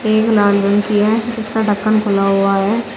एक लाल रंग की है जिसका ढक्कन खुला हुआ है।